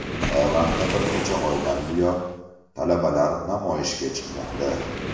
Tailandda bir necha oydan buyon talabalar namoyishga chiqmoqda.